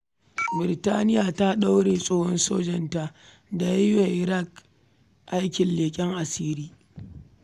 Birtaniya ta ɗaure tsohon sojanta da ya yi wa Iran aikin leƙen asiri.